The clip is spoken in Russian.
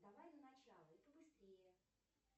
давай в начало и побыстрее